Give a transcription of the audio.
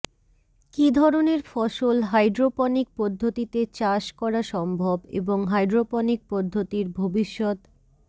কি ধরণের ফসল হাইড্রোপনিক পদ্ধতিতে চাষ করা সম্ভব এবং হাইড্রোপনিক পদ্ধতির ভবিষ্যৎ